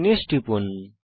finish টিপুন